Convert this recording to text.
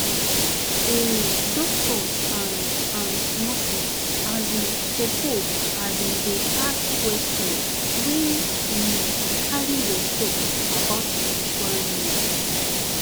um doctors and and nurses asin suppose asin dey ask questions wey um carry respect about spiritual needs